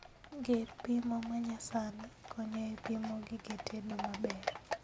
Gir pimo manyasani konyo e pimo gige tedo maber